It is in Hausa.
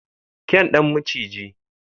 kyan Dan maciji.